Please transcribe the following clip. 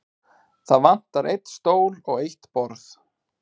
Það vantar einn stól og eitt borð.